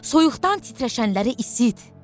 Soyuqdan titrəşənləri isit.